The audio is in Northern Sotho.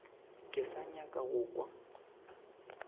ke sa nyaka go kwa